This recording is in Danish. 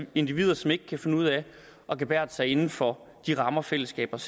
individer som ikke kan finde ud af at gebærde sig inden for de rammer fællesskabet